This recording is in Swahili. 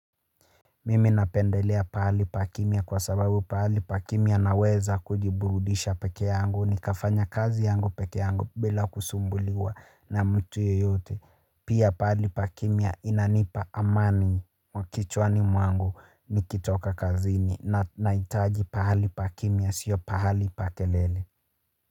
Mimi na pendelea pahali pakimya kwa sababu pahali pakimya naweza kujiburudisha peke yangu nikafanya kazi yangu peke yangu bila kusumbuliwa na mtu yeyote pia pahali pakimia inanipa amani wakichwa ni mwangu nikitoka kazini na hitaji pahali pakimia siyo pahali pa kelele.